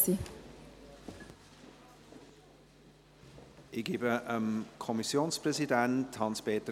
Ich gebe dem Kommissionspräsidenten das Wort.